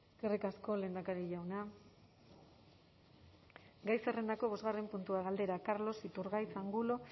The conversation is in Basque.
eskerrik asko lehendakari jauna gai zerrendako bosgarren puntua galdera carlos iturgaiz angulo